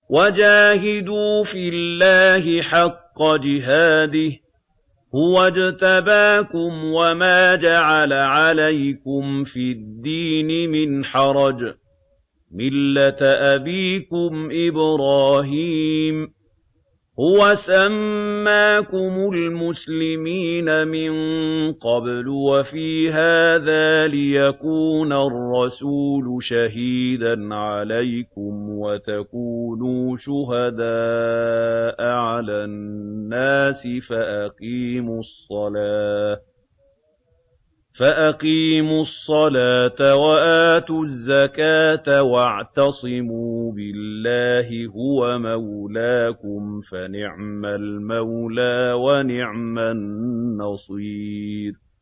وَجَاهِدُوا فِي اللَّهِ حَقَّ جِهَادِهِ ۚ هُوَ اجْتَبَاكُمْ وَمَا جَعَلَ عَلَيْكُمْ فِي الدِّينِ مِنْ حَرَجٍ ۚ مِّلَّةَ أَبِيكُمْ إِبْرَاهِيمَ ۚ هُوَ سَمَّاكُمُ الْمُسْلِمِينَ مِن قَبْلُ وَفِي هَٰذَا لِيَكُونَ الرَّسُولُ شَهِيدًا عَلَيْكُمْ وَتَكُونُوا شُهَدَاءَ عَلَى النَّاسِ ۚ فَأَقِيمُوا الصَّلَاةَ وَآتُوا الزَّكَاةَ وَاعْتَصِمُوا بِاللَّهِ هُوَ مَوْلَاكُمْ ۖ فَنِعْمَ الْمَوْلَىٰ وَنِعْمَ النَّصِيرُ